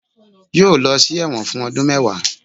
yóò lọ sí ẹwọ́n fun ọdun mẹwa